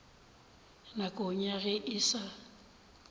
nakong ya ge e sa